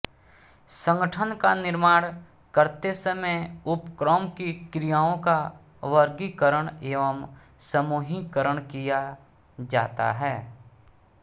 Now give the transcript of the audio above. संगठन का निर्माण करते समय उपक्रम की क्रियाओं का वर्गीकरण एवं समूहीकरण किया जाता है